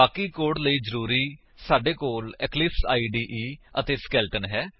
ਬਾਕੀ ਕੋਡ ਲਈ ਜ਼ਰੂਰੀ ਸਾਡੇ ਕੋਲ ਇਕਲਿਪਸ ਇਦੇ ਅਤੇ ਸਕੇਲੇਟਨ ਹੈ